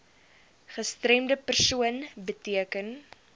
gestremde persoon beteken